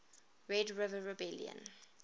red river rebellion